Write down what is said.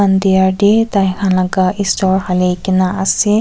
diwar te tai khan laga esor hali kina ase.